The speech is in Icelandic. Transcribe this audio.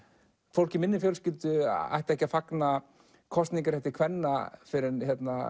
fólk í minni fjölskyldu ætti ekki að fagna kosningarétti kvenna fyrr en